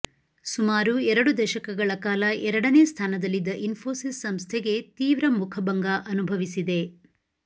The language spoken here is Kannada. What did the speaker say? ಸುಮಾರು ಎರಡು ದಶಕಗಳ ಕಾಲ ಎರಡನೇ ಸ್ಥಾನದಲ್ಲಿದ್ದ ಇನ್ಫೋಸಿಸ್ ಸಂಸ್ಥೆಗೆ ತೀವ್ರ ಮುಖಭಂಗ ಅನುಭವಿಸಿದೆ